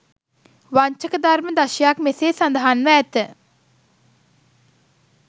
වංචක ධර්ම දශයක් මෙසේ සඳහන් ව ඇත.